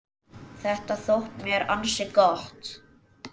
Þetta þótti mér ansi gott.